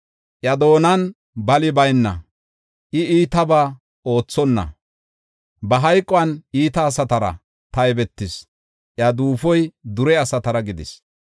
Iya doonan bali bayna, I, iitaba oothonna, ba hayquwan iita asatara taybetis; iya duufoy dure asatara gidis.